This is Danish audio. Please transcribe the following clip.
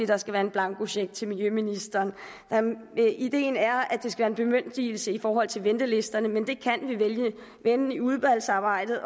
der skal være en blankocheck til miljøministeren ideen er at det skal være en bemyndigelse i forhold til ventelisterne men det kan vi vende i udvalgsarbejdet